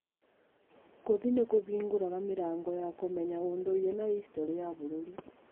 Gũthiĩ nĩ kũhingũraga mĩrango ya kũmenya ũndũire na hicitorĩ ya bũrũri.